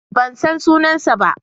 Ban san sunansa ba.